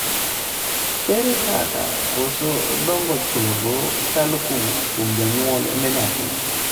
ere kaka koso dongo chogo kalo kawuok kuom janyuol ne nyathi?